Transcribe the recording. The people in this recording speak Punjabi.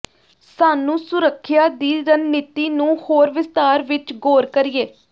ਸਾਨੂੰ ਸੁਰੱਖਿਆ ਦੀ ਰਣਨੀਤੀ ਨੂੰ ਹੋਰ ਵਿਸਥਾਰ ਵਿੱਚ ਗੌਰ ਕਰੀਏ